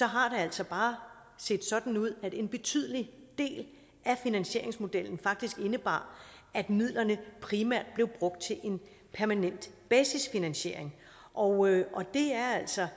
har det altså bare set sådan ud at en betydelig del af finansieringsmodellen faktisk indebar at midlerne primært blev brugt til en permanent basisfinansiering og det er altså